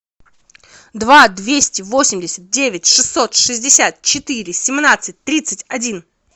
два двести восемьдесят девять шестьсот шестьдесят четыре семнадцать тридцать один